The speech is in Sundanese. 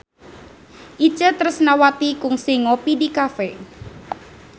Itje Tresnawati kungsi ngopi di cafe